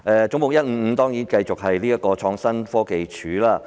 總目155是關於創新科技署。